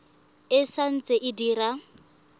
e sa ntse e dira